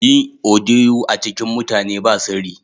Yin odiyo a cikin mutane ba sirri.